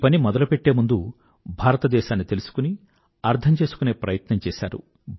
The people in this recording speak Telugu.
ఈ పని మొదలుపెట్టే ముందుభారతదేశాన్ని తెలుసుకుని అర్థం చేసుకునే ప్రయత్నం చేశారు